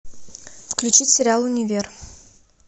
включить сериал универ